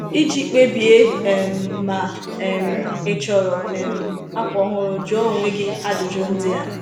Iji kpebie um ma um ị chọrọ um akwa ọhụrụ, jụọ onwe gị ajụjụ ndị a.